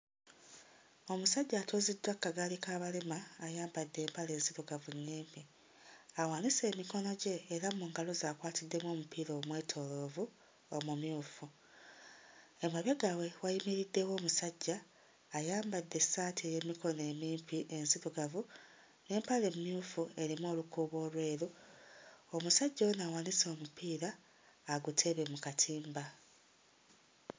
Omusajja atuuziddwa ku kagaali k'abalema ayambadde empale enzirugavu nnyimpi, awanise emikono gye era mu ngalo ze akwatiddemu omupiira omwetooloovu omumyufu. Emabega we wayimiriddewo omusajja ayambadde essaati ey'emikono emimpi enzirugavu n'empale emmyufu erimu olukuubo olweru. Omusajja ono awanise omupiira aguteebe mu katimba.